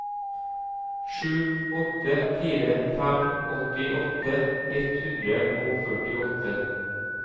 sju åtte fire fem åttiåtte ett hundre og førtiåtte